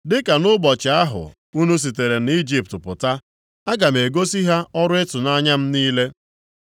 “Dịka nʼụbọchị ahụ unu sitere nʼIjipt pụta, aga m egosi ha ọrụ ịtụnanya m niile.”